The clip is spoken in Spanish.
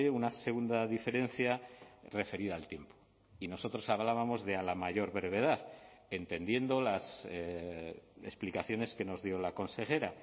una segunda diferencia referida al tiempo y nosotros hablábamos de a la mayor brevedad entendiendo las explicaciones que nos dio la consejera